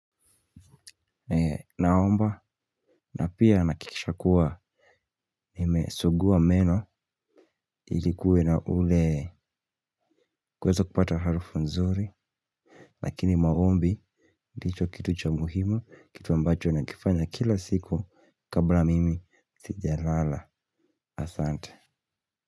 Naomba na pia nakikisha kuwa nimesuguwa meno ilikuwe na ule kweza kupata harufu nzuri. Lakini maombi ndicho kitu cha umuhumu kitu ambacho nakifanya kila siku kabla mimi sijalala asante.